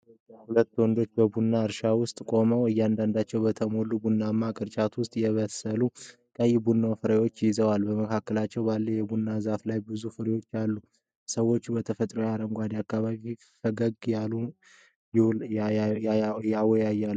ሁለት ወንዶች በቡና እርሻ ውስጥ ቆመዋል። እያንዳንዳቸው በተሞሉ ቡናማ ቅርጫቶች ውስጥ የበሰለ ቀይ የቡና ፍሬዎችን ይዘዋል። በመካከላቸው ባለው የቡና ዛፍ ላይ ብዙ ፍሬዎች አሉ። ሰዎቹ በተፈጥሯዊ አረንጓዴ አካባቢ ፈገግ እያሉ ይወያያሉ።